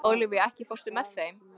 Ólafía, ekki fórstu með þeim?